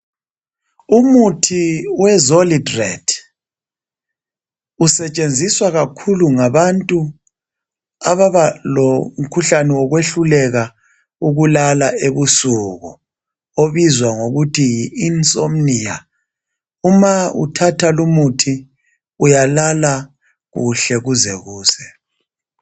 Umuthi wezolidrate usetshenziswa kakhulu ngabantu ababa lomkhuhlane wokwehluleka ukulala ebusuku obizwa ngokuthi yi insomnia , uma kuthatha lumuthi uyalala kuhle kuze kuse